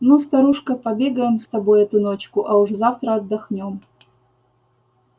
ну старушка побегаем с тобой эту ночку а уж завтра отдохнём